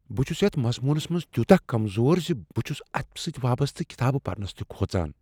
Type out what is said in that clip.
بہٕ چھس یتھ مضمونس منز تِیوتاہ کمزور ز بہٕ چھس اتھ سۭتۍ وابستہٕ کتابہٕ پرنس تہ کھوژان۔